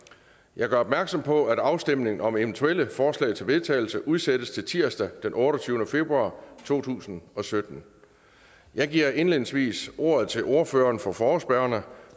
jeg gør opmærksom på at afstemning om eventuelle forslag til vedtagelse udsættes til tirsdag den otteogtyvende februar to tusind og sytten jeg giver indledningsvis ordet til ordføreren for forespørgerne